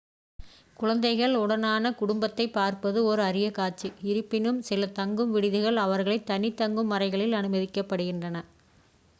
குழந்தைகள் உடனான குடும்பத்தை பார்ப்பது ஓர் அரிய காட்சி இருப்பினும் சில தங்கும் விடுதிகள் அவர்களை தனி தங்கும் அறைகளில் அனுமதிக்கின்றன